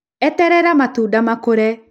eterera matũnda makũre